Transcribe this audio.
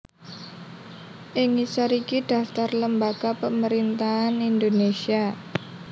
Ing ngisor iki daftar lembaga pemerintahan Indonésia